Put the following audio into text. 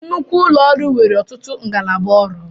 Nnukwu ụlọ ọrụ nwere ọtụtụ ngalaba ọrụ